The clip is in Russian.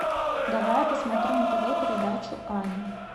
давай я посмотрю на тв передачу ани